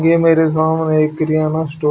ये मेरे सामने एक किरयाना स्टो--